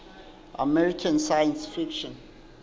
american science fiction